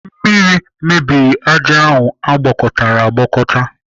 Mmiri mebiri ájá ahụ agwakọtara agwakọta